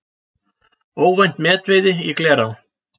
Óvænt metveiði í Glerá